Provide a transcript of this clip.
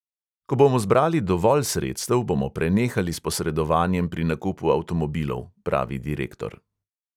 Ko bomo zbrali dovolj sredstev, bomo prenehali s posredovanjem pri nakupu avtomobilov, pravi direktor.